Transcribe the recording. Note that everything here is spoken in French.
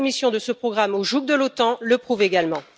La soumission de ce programme au joug de l'OTAN le prouve également.